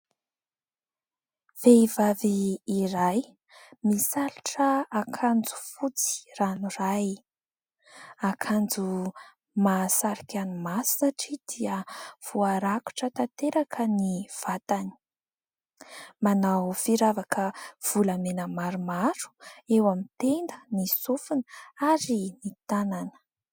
Vehivavy iray misalotra akanjo fotsy ranoray, akanjo mahasarika ny maso satria dia voarakotra tanteraka ny vatany, manao firavaka volamena maromaro eo amin'ny tenda, ny sofina ary ny tanana.